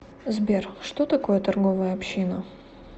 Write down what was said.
сбер что такое торговая община